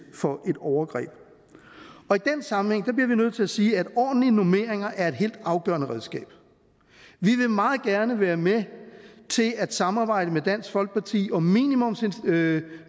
for et overgreb i den sammenhæng bliver vi nødt til at sige at ordentlige normeringer er et helt afgørende redskab vi vil meget gerne være med til at samarbejde med dansk folkeparti om minimumsnormeringer